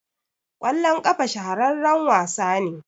kwalllon kafa shahararren wasa ne